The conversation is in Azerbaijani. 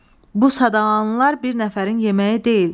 Bu sadalananlar bir nəfərin yeməyi deyil.